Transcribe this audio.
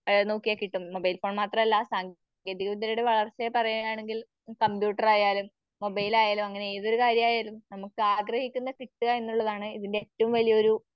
ആ നോക്കിയാ കിട്ടും. മൊബൈൽഫോൺ മാത്രമല്ല വളർച്ചയെ പറയുകയാണെങ്കിൽ കമ്പ്യൂട്ടറായാലും മൊബൈലായാലും അങ്ങനെ ഏതൊരു കാര്യായാലും നമുക്ക് ആഗ്രഹിക്കുന്ന കിട്ടുക എന്നതാണ് ഇതിൻറെ ഏറ്റവുംവലിയൊരു